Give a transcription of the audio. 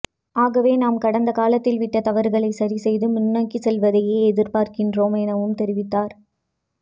ஆகவே நாம் கடந்தகாலத்தில் விட்ட தவறுகளை சரிசெய்து முன்னோக்கிச் செல்வதையே எதிர்பார்க்கின்றோம் எனவும் தெரிவித்தார்